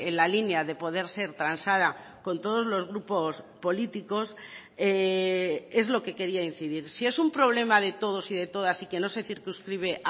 la línea de poder ser transada con todos los grupos políticos es lo que quería incidir si es un problema de todos y de todas y que no se circunscribe